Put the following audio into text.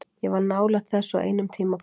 Ég var nálægt þessu á einum tímapunkti.